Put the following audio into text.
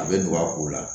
A bɛ don a ko la